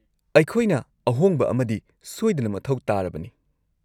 -ꯑꯩꯈꯣꯏꯅ ꯑꯍꯣꯡꯕ ꯑꯃꯗꯤ ꯁꯣꯏꯗꯅ ꯃꯊꯧ ꯇꯥꯔꯕꯅꯤ꯫